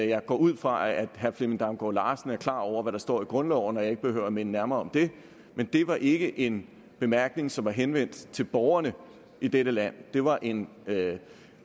jeg går ud fra at herre flemming damgaard larsen er klar over hvad der står i grundloven og at jeg ikke behøver at minde nærmere om det men det var ikke en bemærkning som var henvendt til borgerne i dette land det var en